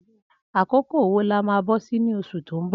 Akókó wó là mà bọsi ni óṣú tó n bọ?